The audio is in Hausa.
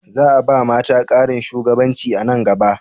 Za a ba mata ƙarin shugabanci a nan gaba?